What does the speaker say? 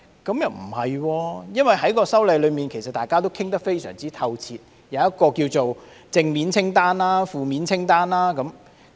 不會的，因為大家已就《條例草案》作出非常透徹的討論，並列出正面清單和負面清單。